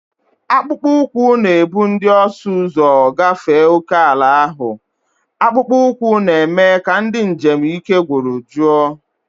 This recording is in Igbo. Akpụkpọ ụkwụ na-ebu ndị ọsụ ụzọ gafee ókèala ahụ, akpụkpọ ụkwụ na-eme ka ndị njem ike gwụrụ jụọ.